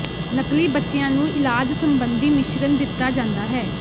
ਨਕਲੀ ਬੱਚਿਆਂ ਨੂੰ ਇਲਾਜ ਸੰਬੰਧੀ ਮਿਸ਼ਰਣ ਦਿੱਤਾ ਜਾਂਦਾ ਹੈ